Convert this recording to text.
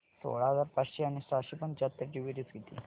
सोळा हजार पाचशे आणि सहाशे पंच्याहत्तर ची बेरीज किती